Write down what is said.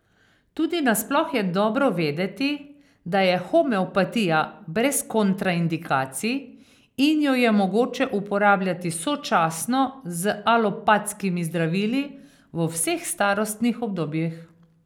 Tudi nasploh je dobro vedeti, da je homeopatija brez kontraindikacij in jo je mogoče uporabljati sočasno z alopatskimi zdravili, v vseh starostnih obdobjih.